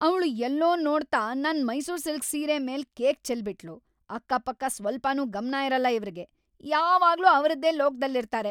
ಅವ್ಳು ಎಲ್ಲೋ ನೋಡ್ತಾ ನನ್‌ ಮೈಸೂರ್‌ ಸಿಲ್ಕ್‌ ಸೀರೆ ಮೇಲೆ ಕೇಕ್‌ ಚೆಲ್ಲ್‌ ಬಿಟ್ಳು, ಅಕ್ಕಪಕ್ಕ ಸ್ವಲ್ಪನೂ ಗಮ್ನ ಇರಲ್ಲ ಇವ್ರಿಗೆ, ಯಾವಾಗ್ಲೂ ಅವ್ರದೇ ಲೋಕ್ದಲ್ಲಿರ್ತಾರೆ.